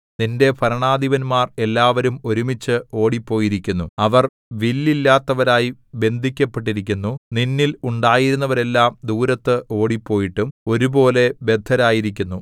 നിന്റെ ഭരണാധിപന്മാർ എല്ലാവരും ഒരുമിച്ച് ഓടിപ്പോയിരിക്കുന്നു അവർ വില്ലില്ലാത്തവരായി ബന്ധിക്കപ്പെട്ടിരിക്കുന്നു നിന്നിൽ ഉണ്ടായിരുന്നവരെല്ലാം ദൂരത്ത് ഓടിപ്പോയിട്ടും ഒരുപോലെ ബദ്ധരായിരിക്കുന്നു